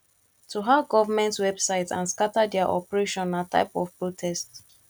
to hack government websites and scatter their operation na type of protest